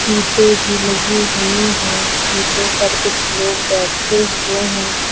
सीटे भी लगी हुई है सीटों पर कुछ लोग बैठे हुए हैं।